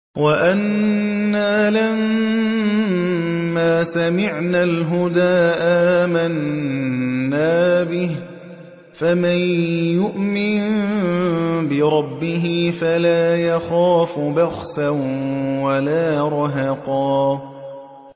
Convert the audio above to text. وَأَنَّا لَمَّا سَمِعْنَا الْهُدَىٰ آمَنَّا بِهِ ۖ فَمَن يُؤْمِن بِرَبِّهِ فَلَا يَخَافُ بَخْسًا وَلَا رَهَقًا